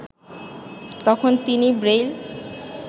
তখন তিনি ব্রেইল